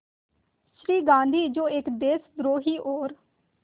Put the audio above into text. श्री गांधी जो एक देशद्रोही और